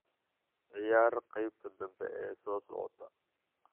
ciyaar qaybta dambe ee soo socota